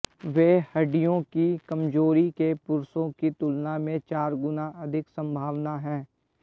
वे हड्डियों की कमजोरी के पुरुषों की तुलना में चार गुना अधिक संभावना है